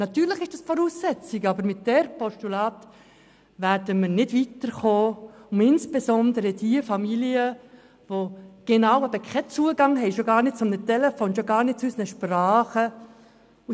Sicher ist das die Voraussetzung, aber mit diesem Postulat werden wir nicht weiterkommen, um insbesondere diejenigen Familien zu erreichen, die eben genau keinen Zugang haben, schon gar nicht zu einem Telefon, schon gar nicht zu unseren Sprachen.